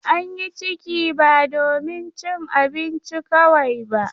An yi ciki ba domin cin abinci kawai ba.